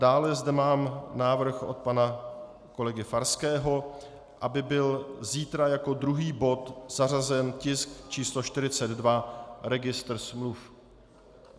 Dále zde mám návrh od pana kolegy Farského, aby byl zítra jako druhý bod zařazen tisk číslo 42 - registr smluv.